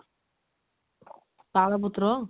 ତାଳ ପତ୍ର